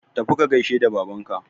tafi ka gaishe da Babanka